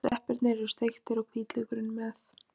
Sveppirnir eru steiktir og hvítlaukurinn með.